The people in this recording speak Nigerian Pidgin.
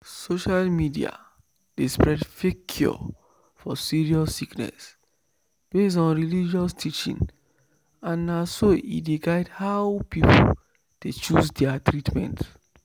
social media dey spread fake cure for serious sickness based on religious teaching and na so e dey guide how people dey choose their treatment."